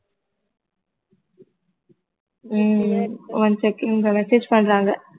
ஹம் one second message பண்றாங்க